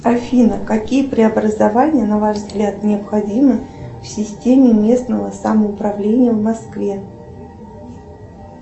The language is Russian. афина какие преобразования на ваш взгляд необходимы в системе местного самоуправления в москве